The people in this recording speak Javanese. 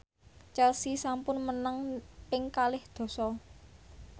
Chelsea sampun menang ping kalih dasa